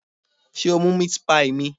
Sé o mú meat pie mi?